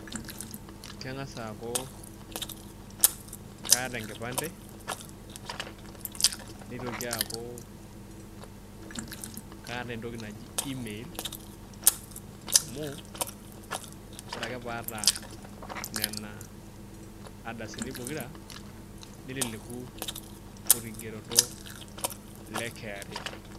Kangas aaku kaata enkipante nitoki aaku kaata entoki naji email amu ore ake pee ata Nena ardasini pokira nelelek orkigereto le KRA.